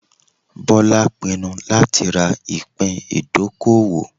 Bola pinnu lati ra ipin idokowo